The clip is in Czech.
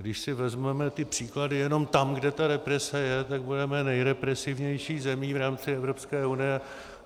Když si vezmeme ty příklady jenom tam, kde ta represe je, tak budeme nejrepresivnější zemí v rámci Evropské unie.